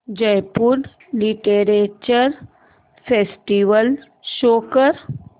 Jaipur literature festival show कर